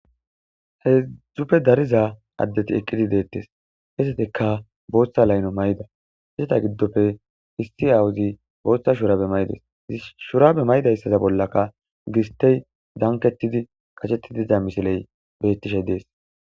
heedzzdzupfe dariza addeti eqqidi deettes hessatika booththa layno mayda iseta giddofe isti awuzi booththa shuraabe maydes izi shurabe maydayssaza bollaka gistey danketidi kashetti iza mishiley bettishe dees